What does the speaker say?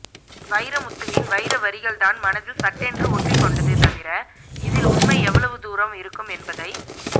வைரமுத்துவின் வைர வரிகள் தான் மனதில் சட்டென்று ஒட்டிக் கொண்டது தவிர இதில் உண்மை எவ்வளவு தூரம் இருக்கும் என்பதை